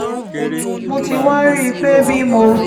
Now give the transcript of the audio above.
mo ti wá rí i pé bí mo